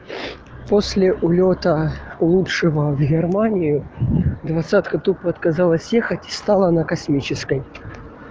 после улёта лучшего в германию двадцать тупо отказалась ехать и стала на космической